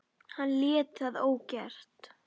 En hann lét það ógert.